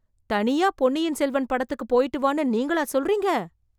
தனியா பொன்னியின் செல்வன் படத்துக்கு போய்ட்டு வான்னு நீங்களா சொல்றீங்க...